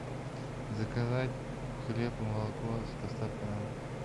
заказать хлеб и молоко с доставкой на дом